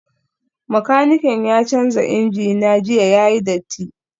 Makanikin ya canza injina jiya yayi datti